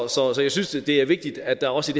så så jeg synes det er vigtigt at der også